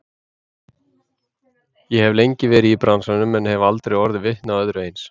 Ég hef lengi verið í bransanum en hef aldrei orðið vitni að öðru eins.